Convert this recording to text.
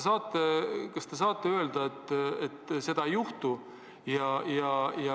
Kas te saate öelda, et seda ei juhtu?